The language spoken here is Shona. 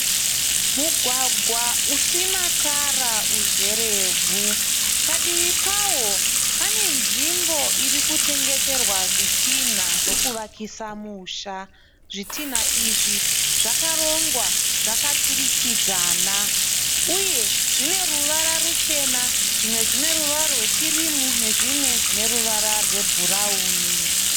Mugwagwa usina tara uzerevhu, padivi pawo panenzvimbo irikutengeserwa zvitinha zvekuvakisa musha. Zvitinha izvi zvakarongwa zvakaturikidzanwa uye zvine ruvara ruchena, zvimwe zvine ruvara rwekirimu nezvimwe zvine ruvara rwebhurauni.